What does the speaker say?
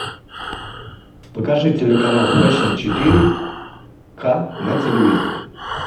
покажи телеканал фэшен четыре ка на телевизоре